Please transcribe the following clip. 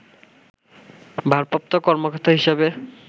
ভারপ্রাপ্ত কর্মকর্তা হিসেবে